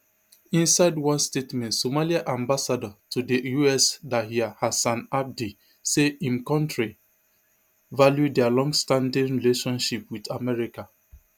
inside one statement somalia ambassador to di US dahir hassan abdi say im kontri value dia longstanding relationship wit america